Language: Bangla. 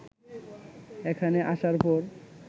এখানে আসার পর